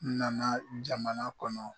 N nana jamana kɔnɔ.